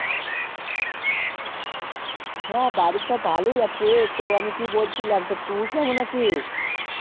হ্যাঁ বাড়ির সব ভালোই আছে তো আমি কি বলছিলাম তা তুই আছিস